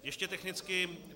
Ještě technicky.